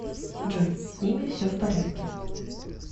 джой с ними все в порядке